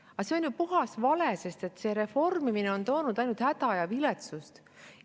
Aga see on ju puhas vale, sest see reformimine on toonud ainult häda ja viletsust.